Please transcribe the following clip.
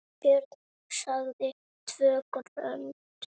Björn sagði TVÖ GRÖND!